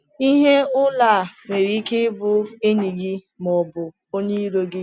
Ihe ụlọ a nwere ike ịbụ enyi gị ma ọ bụ onye iro gị.